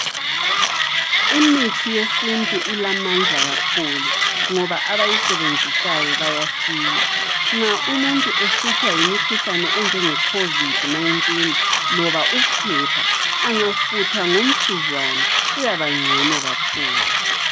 Imithi yesintu ilamandla kakhulu. Ngoba abayisebenzisayo bayasila. Nxa umuntu ehlutshwa yimikhuhlane enjenge covid19, loba uphepha, angafutha ngomsuzwane uyabangcono lakhulu.